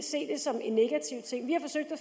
at